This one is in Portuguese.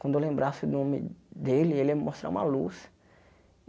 Quando eu lembrasse o nome dele, ele ia me mostrar uma luz.